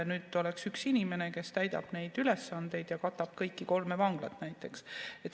Nüüd on üks inimene, kes täidab neid ülesandeid ja katab kõiki kolme vanglat näiteks.